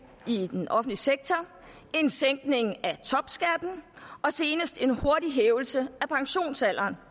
i den offentlige sektor en sænkning af topskatten og senest en hurtig hævelse af pensionsalderen